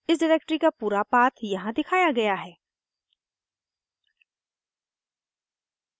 इस डिरेक्टरी का पूरा पाथ यहाँ दिखाया गया है